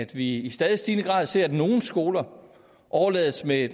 vi i stadig stigende grad ser at nogle skoler overlades med